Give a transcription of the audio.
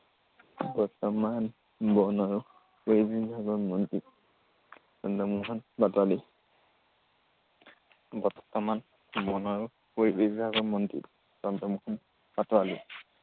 বৰ্তমান বন আৰু পৰিৱেশ বিভাগৰ মন্ত্ৰী চন্দ্ৰমোহন পাটোৱাৰী। বৰ্তমান বন আৰু পৰিৱেশ বিভাগৰ মন্ত্ৰী চন্দ্ৰমোহন পাটোৱাৰী।